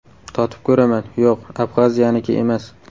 Totib ko‘raman, yo‘q, Abxaziyaniki emas.